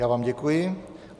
Já vám děkuji.